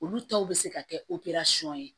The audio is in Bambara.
Olu tɔw bɛ se ka kɛ ye